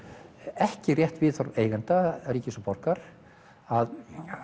ekki rétt viðhorf eigenda ríkis og borgar að